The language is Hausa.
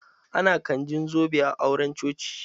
Ana canjin zobe a auren coci.